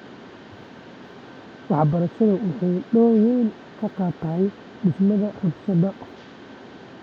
Waxbarashadu waxay door weyn ka qaadatay dhimista rabshadaha .